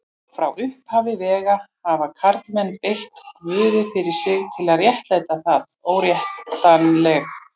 Frá upphafi vega hafa karlmenn beitt guði fyrir sig til að réttlæta það óréttlætanlega.